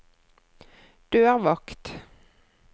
dørvakt